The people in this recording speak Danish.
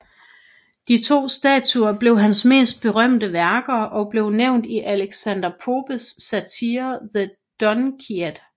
De to statuer blev hans mest berømte værker og blev nævnt i Alexander Popes satire The Dunciad